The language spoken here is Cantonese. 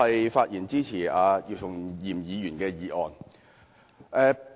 我發言支持姚松炎議員的議案。